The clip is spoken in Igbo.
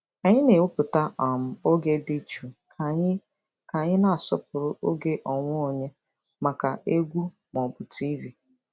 Anyị na-ewepụta um oge dị jụụ ka anyị ka anyị na-asọpụrụ oge onwe onye maka egwu ma ọ bụ TV.